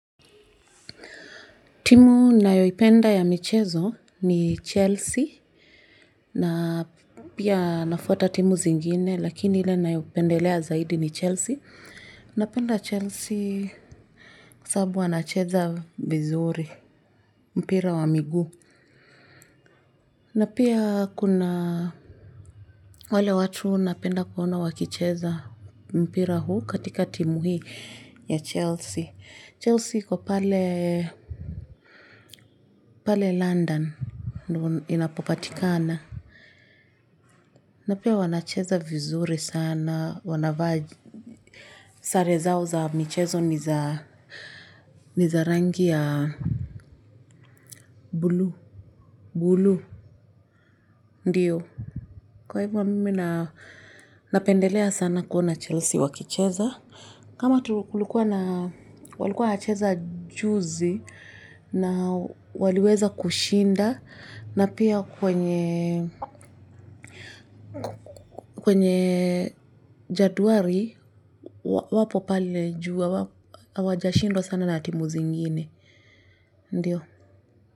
Timu ninayoipenda ya michezo ni Chelsea na pia nafuata timu zingine lakini ile ninayoipendelea zaidi ni Chelsea. Napenda Chelsea kwu sababu wanacheza vizuri mpira wa miguu. Na pia kuna wale watu napenda kuona wakicheza mpira huu katika timu hii. Ya Chelsea. Chelsea iko pale London, ndio inapopatikana. Na pia wanacheza vizuri sana, wanavaa sare zao za michezo ni za rangi ya bluu, bluu, ndiyo. Kwa hivyo mimi napendelea sana kuona Chelsea wakicheza. Kama kulikuwa na, walikuwa hacheza juzi na waliweza kushinda. Na pia kwenye jedwali wapo pale juu hawajashindwa sana na timu zingine, ndiyo.